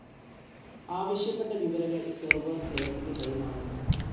ആവശ്യപ്പെട്ട വിവരങ്ങൾ സെർവർ, ക്ലൈന്റിന് കൈമാറുന്നു.